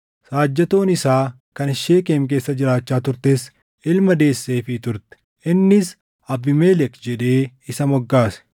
Saajjatoon isaa kan Sheekem keessa jiraachaa turtes ilma deesseefii turte; innis Abiimelek jedhee isa moggaase.